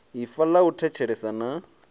ifa ḽa u thetshelesa na